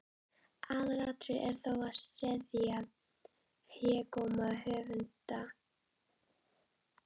Aðalatriðið er þó að seðja hégóma höfundar.